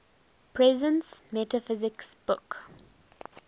presence metaphysics book